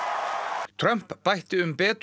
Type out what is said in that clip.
bætti um betur síðar í ræðunni